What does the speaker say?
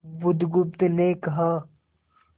बुधगुप्त ने कहा